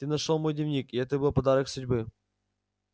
ты нашёл мой дневник и это был подарок судьбы